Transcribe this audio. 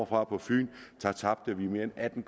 fra fyn tabte vi mere end atten